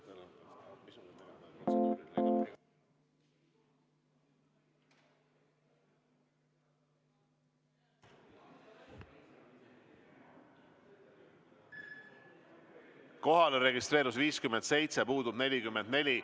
Kohalolijaks registreerus 57 ja puudub 44.